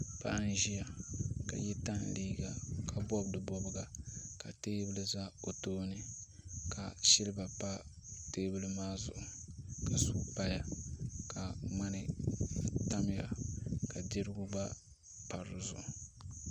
Paɣa n ʒiya ka yɛ tani liiga ka bob di bobga ka teebuli ʒɛ o tooni ka silba pa teebuli maa zuɣu ka suu paya ka ŋmani tamya ka dirigu gba pa dizuɣu